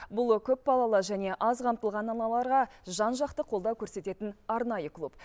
бұл көпбалалы және аз қамтылған аналарға жан жақты қолдау көрсететін арнайы клуб